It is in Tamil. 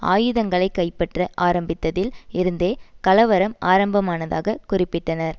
ஆயுதங்களை கைப்பற்ற ஆரம்பித்ததில் இருந்தே கலவரம் ஆரம்பமானதாக குறிப்பிட்டனர்